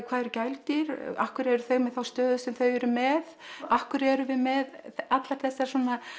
hvað eru gæludýr af hverju eru þau með þá stöðu sem þau eru með af hverju erum við með allar þessar